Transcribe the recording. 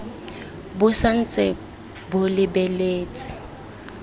bo sa ntse bo lebeletse